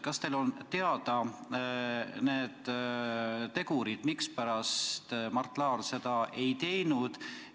Kas teile on teada, mispärast Mart Laar seda ei teinud?